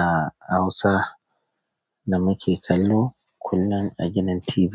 A Hausa ne muke kallo kullum a gidan TV